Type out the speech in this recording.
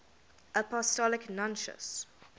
apostolic nuncios